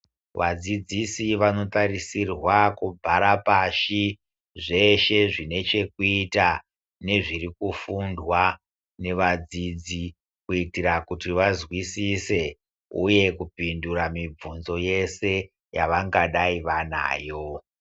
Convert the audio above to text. Vadzidzisi vanotarisirwa kubhara pashi zveshe zvine chekuita nezvirikufundwa nevadzidzi kuitira kuti vazwisise uye kupindura mibvunzo yese yavangadai vanayo.